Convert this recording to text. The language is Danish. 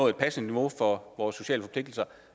et passende niveau for vores sociale forpligtelser